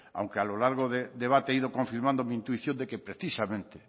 aunque a lo largo del debate he ido confirmando mi intuición de que precisamente